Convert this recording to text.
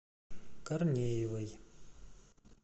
корнеевой